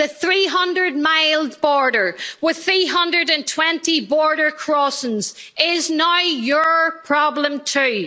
The 300 mile border, with 320 border crossings, is now your problem too.